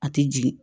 A tɛ jigin